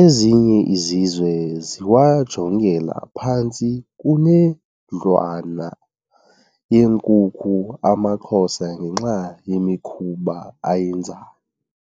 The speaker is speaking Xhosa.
Ezinye izizwe ziwajongela phantsi kunendlwane yenkukhu amaXhosa ngenxa yemikhuba ayenzayo.